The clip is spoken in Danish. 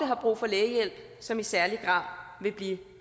har brug for lægehjælp som i særlig grad vil blive